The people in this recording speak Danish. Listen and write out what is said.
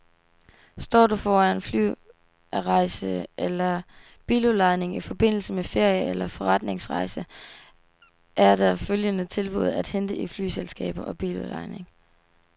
Står du foran flyrejse eller biludlejning i forbindelse med ferie eller forretningsrejse er der følgende tilbud at hente i flyselskaber og biludlejning.